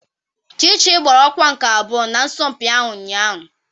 Chichi gbara ọkwa nke abụọ n'asọmpi ahụ ụnyahụ.